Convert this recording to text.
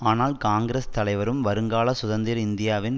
ஆனால் காங்கிரஸ் தலைவரும் வருங்கால சுதந்திர இந்தியாவின்